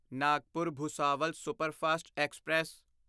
Nagpur Bhusawal superfast express